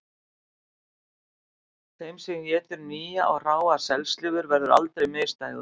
Þeim sem étur nýja og hráa selslifur verður aldrei misdægurt